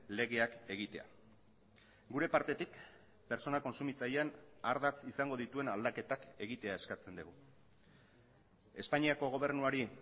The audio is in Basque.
legeak egitea gure partetik pertsona kontsumitzaileen ardatz izango dituen aldaketak egitea eskatzen dugu espainiako gobernuari